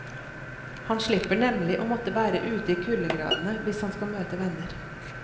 Han slipper nemlig å måtte være ute i kuldegradene hvis han skal møte venner.